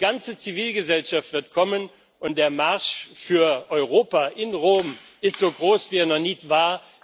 Die ganze Zivilgesellschaft wird kommen, und der Marsch für Europa in Rom ist so groß wie er noch nie war.